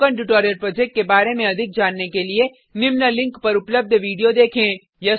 spoken tutorial project के बारे में अधिक जानने के लिए निम्न लिंक पर उपलब्ध विडिओ देखें